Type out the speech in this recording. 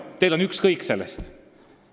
Teil on sellest ükskõik.